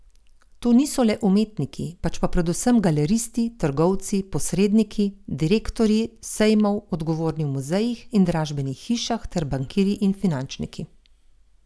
To niso le umetniki, pač pa predvsem galeristi, trgovci, posredniki, direktorji sejmov, odgovorni v muzejih in dražbenih hišah ter bankirji in finančniki.